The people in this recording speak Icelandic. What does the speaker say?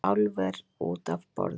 Álver út af borðinu